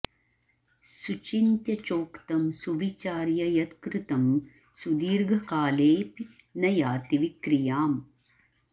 सुचिन्त्य चोक्तं सुविचार्य यत् कृतं सुदीर्घकालेऽपि न याति विक्रियाम्